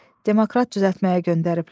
Demokrat düzəltməyə göndəriblər.